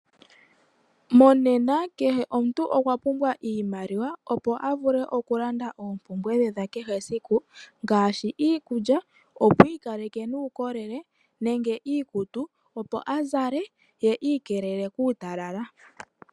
Monema kehe omuntu okwa pumbwa iimaliwa opo avule okulanda oompumbwe dhe dhakehe esiku ngaashi iikulya opo iikaleke nuukolele nenge iikutu opo azale nenge iikelele kuutala.